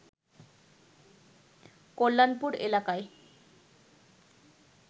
কল্যাণপুর এলাকায়